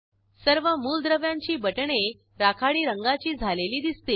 सर्व मूलद्रव्यांची बटणे राखाडी रंगाची झालेली दिसतील